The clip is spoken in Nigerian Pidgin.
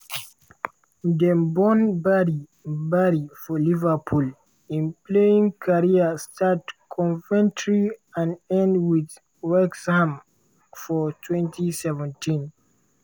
dem born barry barry for liverpool im playing career start coventry and end wit wrexham for 2017.